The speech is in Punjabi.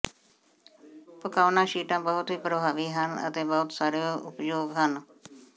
ਪਕਾਉਣਾ ਸ਼ੀਟਾਂ ਬਹੁਤ ਹੀ ਪਰਭਾਵੀ ਹਨ ਅਤੇ ਬਹੁਤ ਸਾਰੇ ਉਪਯੋਗ ਹਨ